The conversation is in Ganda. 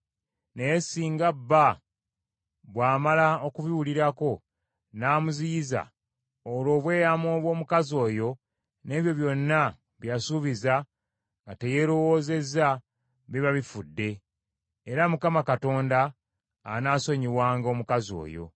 Naye singa bba bw’amala okubiwulirako n’amuziyiza, olwo obweyamo bw’omukazi oyo n’ebyo byonna bye yasuubiza nga teyeerowozezza, biba bifudde, era Mukama Katonda anaasonyiwanga omukazi oyo.